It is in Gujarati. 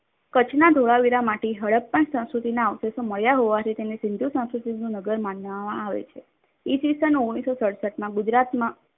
કચ્છના ધોળાવીરામાંથી હડપ્પા સંસ્કૃતિના અવષેશો મળ્યા હોવાથી તેને સિંધુ સંસ્કૃતિનું નગર માનવામાં આવે છે. ઈ. સ. ઓગણીસો સડસઠમાં ગુજરાતમાં